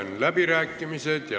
Sulgen läbirääkimised.